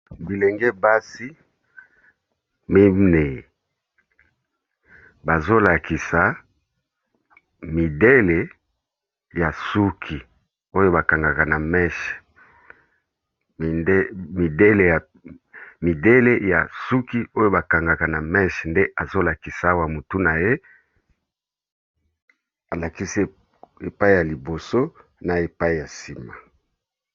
Bilenge basi miney bazo lakisa midele ya suki oyo ba kangaka na meche, nde azo lakisi awa motu na ye alakisi epai ya liboso na epai ya nsima.